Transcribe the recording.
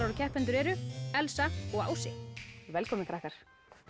og keppendur eru Elsa og Ási velkomnir krakkar